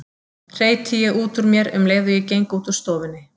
hreyti ég út úr mér um leið og ég geng út úr stofunni.